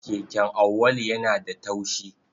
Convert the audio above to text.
Keken Auwalu yana da taushi.